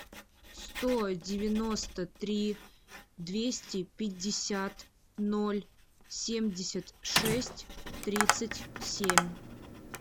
сто девяносто три двести пятьдесят ноль семьдесят шесть тридцать семь